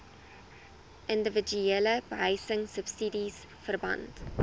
indiwiduele behuisingsubsidies verband